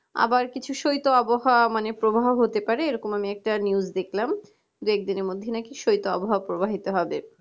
আবার কিছু সৈধ আবহাওয়া মানে প্রবাহ হতে পারে আমি এরকম news দেখলাম দুই একদিনের মধ্যে নাকি সৈধতো আবহাওয়া প্রবাহিত হবে